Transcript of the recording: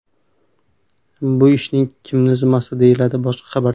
Bu ish kimning zimmasida?”, – deyiladi boshqa xabarda.